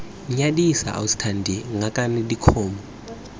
nyadisa ausi thando ngakane dikgomo